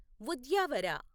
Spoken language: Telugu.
ఉద్యావర